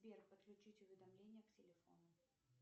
сбер подключить уведомления к телефону